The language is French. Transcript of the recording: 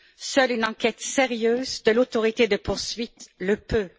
Seule une enquête sérieuse de l'autorité de poursuite le peut.